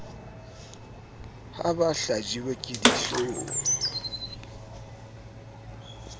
ha ba hlajiwe ke dihloong